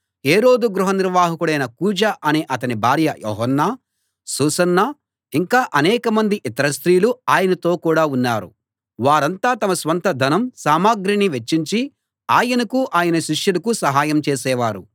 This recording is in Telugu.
హేరోదు గృహ నిర్వాహకుడైన కూజా అనే అతని భార్య యోహన్నా సూసన్నా ఇంకా అనేకమంది ఇతర స్త్రీలూ ఆయనతో కూడా ఉన్నారు వారంతా తమ స్వంత ధనం సామగ్రిని వెచ్చించి ఆయనకు ఆయన శిష్యులకు సహాయం చేసేవారు